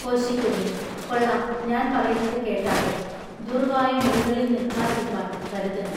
കോശികുര്യന്‍:-കൊള്ളാം ഞാൻ പറയുന്നതു കേട്ടാട്ടെ. ദുര്‍വായു മുറികളിൽ നില്ക്കാതിരിപ്പാൻ കരുതെണം.